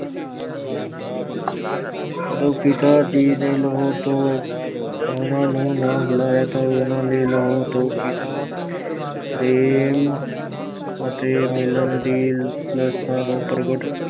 ਜਦੋਂ ਪਿਤਾ ਜੀ ਨੇ ਲਾਹੌਰ ਤੋਂ ਉਹਨਾਂ ਨੂੰ ਨਾ ਬੁਲਾਇਆ ਤਾਂ ਉਹਨਾਂ ਨੇ ਲਾਹੌਰ ਤੋਂ ਪਿਤਾ ਪ੍ਰੇਮ ਅਤੇ ਮਿਲਣ ਦੀ ਲਾਲਸਾ ਨੂੰ